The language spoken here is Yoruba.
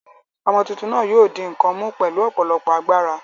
Ọmọ tuntun náà yóò di nǹkan mú pẹ̀lú ọ̀pọ̀lọpọ̀ agbára.